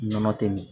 Nɔnɔ tɛ min